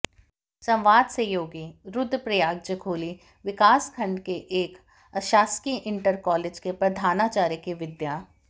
संवाद सहयोगी रुद्रप्रयाग जखोली विकास खंड के एक अशासकीय इंटर कॉलेज के प्रधानाचार्य के विद्या